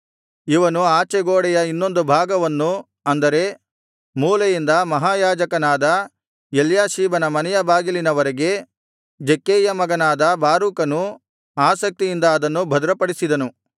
ಇವನು ಆಚೆ ಗೋಡೆಯ ಇನ್ನೊಂದು ಭಾಗವನ್ನು ಅಂದರೆ ಮೂಲೆಯಿಂದ ಮಹಾಯಾಜಕನಾದ ಎಲ್ಯಾಷೀಬನ ಮನೆಯ ಬಾಗಿಲಿನವರೆಗೆ ಜಕ್ಕೈಯ ಮಗನಾದ ಬಾರೂಕನು ಆಸಕ್ತಿಯಿಂದ ಅದನ್ನು ಭದ್ರಪಡಿಸಿದನು